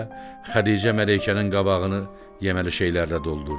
Xədicə Mələkənin qabağını yeməli şeylərlə doldurdu.